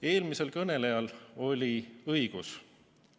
Eelmisel kõnelejal oli õigus.